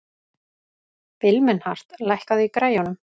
Vilmenhart, lækkaðu í græjunum.